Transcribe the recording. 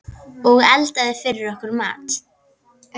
Og eldaði fyrir okkur mat.